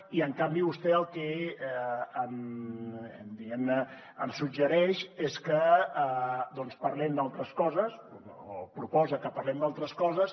i en canvi vostè el que diguem ne em suggereix és que parlem d’altres coses o proposa que parlem d’altres coses